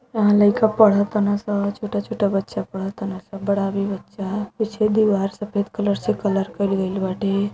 यहाँ लइका पढ़त ताने स । छोटा-छोटा बच्चा पढ़त ताने स । बड़ा भी बच्चा पीछे दीवार सफ़ेद कलर से कलर कइल गइल बाटे।